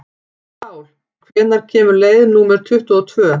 Sál, hvenær kemur leið númer tuttugu og tvö?